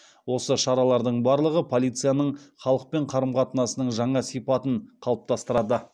осы шаралардың барлығы полицияның халықпен қарым қатынасының жаңа сипатын қалыптастырады